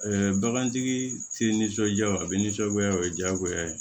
bagantigi tɛ nisɔndiya o bɛ nisɔngoya o ye diyagoya ye